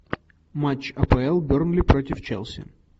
матч апл бернли против челси